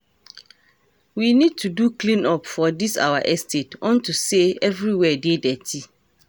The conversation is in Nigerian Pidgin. We need to do clean up for dis our estate unto say everywhere dey dirty